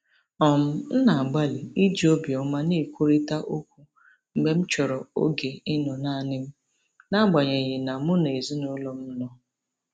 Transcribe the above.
um M na-agbalị iji obiọma na-ekwurịta okwu mgbe m chọrọ oge ịnọ naanị m n’agbanyeghị na mụ na ezinụlọ m nọ.